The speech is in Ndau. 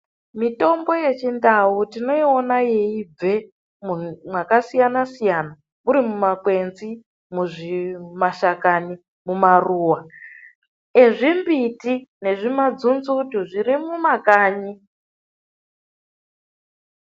Mitombo yechindau tinoiona yeibve mwakasiyana-siyana muri mumakwenzi, mumashakani, maruwa ezvimbiti nezvimadzunzutu zviri mumakanyi.